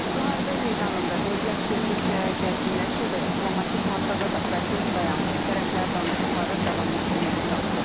Müharibə meydanında vəziyyət getdikcə gərginləşsə də, diplomatik masada da proses dayanmayıb, tərəflər danışıqları davam etdirməyə çalışır.